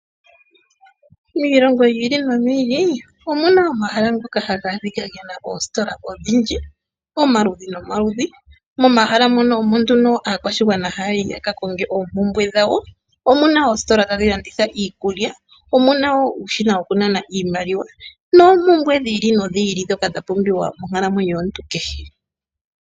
Iilongo yiili noyili omuna omahala ngoka haga ashike gena oositola odhindji dhomaludhi nomaludhi. Momahala muno ohamu yi aantu yaka konge oompumbwe dhawo. Omuna oositola tadhi landitha iikulya , omuna woo nuushina wokunana iimaliwa noopumbwe dhiili nodhili ndhoka dhapumbwa monkalamwenyo yomuntu kehe.